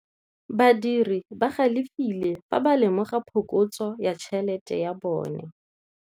Badiri ba galefile fa ba lemoga phokotsô ya tšhelête ya bone.